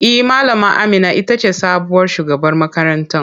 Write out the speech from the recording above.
E, Malama Amina ita ce sabuwar shugaban makarantar.